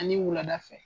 Ani wulada fɛ